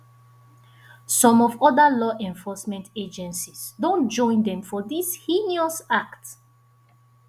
some of oda law enforcement agencies don join dem for dis heinous act